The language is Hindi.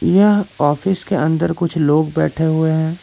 यह ऑफिस के अंदर कुछ लोग बैठे हुए हैं।